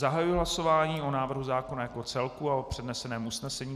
Zahajuji hlasování o návrhu zákona jako celku a o předneseném usnesení.